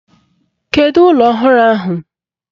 Kedu ụlọ ọhụrụ ahụ?